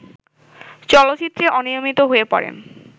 চলচ্চিত্রে অনিয়মিত হয়ে পড়েন